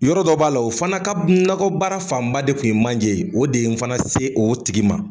Yɔrɔ dɔ b'a la o fana ka nakɔ baara fanba de kun ye manjɛ ye o de ye in fana se o tigi ma.